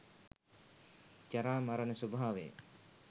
ජරා මරණ ස්වභාවය